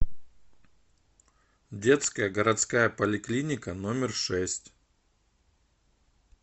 детская городская поликлиника номер шесть